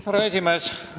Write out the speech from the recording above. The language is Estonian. Härra esimees!